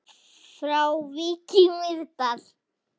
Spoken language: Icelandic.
Frá Vík í Mýrdal